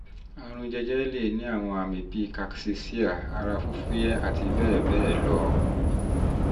àrùn jẹjẹrẹ lè ní àwọn àmì bíi cs] cachexia ara fífúyẹ́ àti bẹ́ẹ̀ bẹ́ẹ̀ lọ